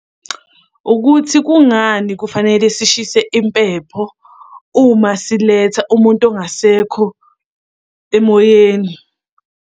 Ukuthi kungani kufanele sishise impepho uma siletha umuntu ongasekho emoyeni.